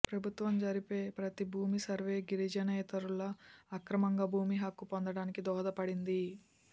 ప్రభుత్వం జరిపే ప్రతి భూమి సర్వే గిరిజనేతరులు అక్రమంగా భూమి హక్కు పొందటానికి దోహదపడింది